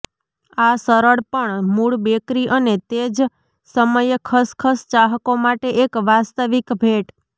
આ સરળ પણ મૂળ બેકરી અને તે જ સમયે ખસખસ ચાહકો માટે એક વાસ્તવિક ભેટ